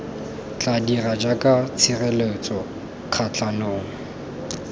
tla dira jaaka tshireletso kgatlhanong